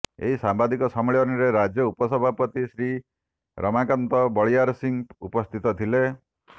ଏହି ସାମ୍ବାଦିକ ସମ୍ମିଳନୀରେ ରାଜ୍ୟ ଉପସଭାପତି ଶ୍ରୀ ରମାକାନ୍ତ ବଳିଆରସିଂ ଉପସ୍ଥିତ ଥିଲେ